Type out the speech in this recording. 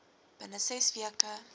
binne ses weke